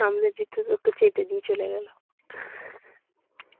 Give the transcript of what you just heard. সামনে দিয়েতো লোকটা check টা দিয়ে চলে গেল।